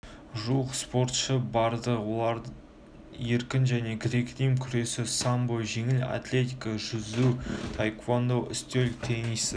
жуық спортшы барды олар еркін және грек-рим күресі самбо жеңіл атлетика жүзу таеквондо үстел теннисі